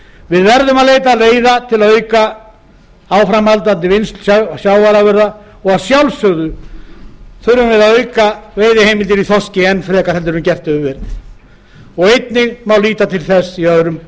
við verðum að leita leiða til að auka áframvinnslu sjávarafurða og að sjálfsögðu þurfum við að auka veiðiheimildir í þorski enn frekar en gert hefur verið og einnig má líta til þess í öðrum